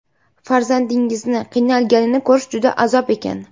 Farzandingizni qiynalganini ko‘rish juda azob ekan.